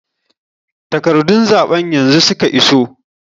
Takarɗun zaɓen yanzu suka iso.